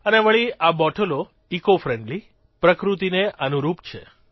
અને વળી આ બોટલો ઇકોફ્રેન્ડલી પ્રકૃતિને અનુરૂપ છે